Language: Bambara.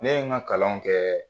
Ne ye ŋa kalan kɛɛ